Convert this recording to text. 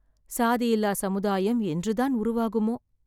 சாதியில்லா சமுதாயம் என்று தான் உருவாகுமோ!